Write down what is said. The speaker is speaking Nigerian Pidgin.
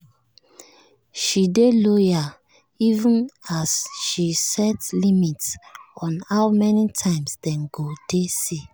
she dey loyal even as she set limit on how many times dem go dey see